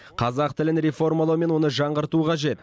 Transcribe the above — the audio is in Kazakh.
қазақ тілін реформалау мен оны жаңғырту қажет